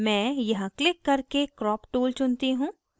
मैं यहाँ क्लिक करके crop tool चुनती हूँ